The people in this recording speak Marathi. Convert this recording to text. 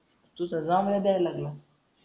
तू त जांबळ्या द्यायला लागला.